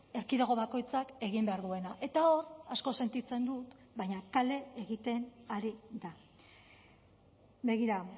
erkidego bakoitzak egin behar duena eta hor asko sentitzen dut baina kale egiten ari da begira